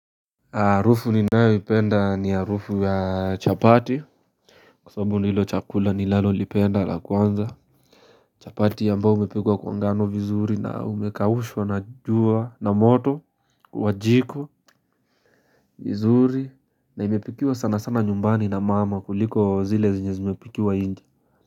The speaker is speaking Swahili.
Harufu ninayoipenda ni harufu ya chapati Kwa sababu ndilo chakula ninalolipenda la kwanza chapati ambao umepikwa kwa ngano vizuri na umekaushwa na jua na moto kwa jiko vizuri na imepikiwa sana sana nyumbani na mama kuliko zile zenye zimepikiwa nje.